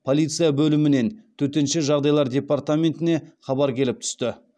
полиция бөлімінен төтенше жағдайлар департаментіне хабар келіп түсті